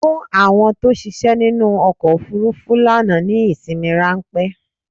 Fún àwọn tó ṣiṣẹ́ nínú ọkọ̀ ofúrúfú lánàá ní ìsinmi ráńpẹ́!